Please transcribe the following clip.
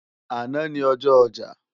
Àná ni ọjọ́ ọjà